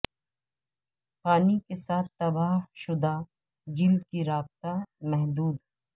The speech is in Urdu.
پانی کے ساتھ تباہ شدہ جلد کی رابطہ محدود